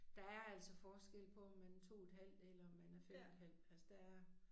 Der er altså forskel på om man 2 et halvt eller om man er 5 et halvt altså der er